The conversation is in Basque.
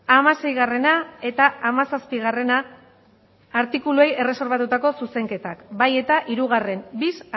hamaseigarrena eta hamazazpigarrena artikuluei erreserbatutako zuzenketak bai eta hirugarrena bis